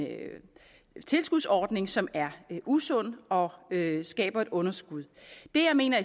tilskudsordning som er usund og skaber et underskud det jeg mener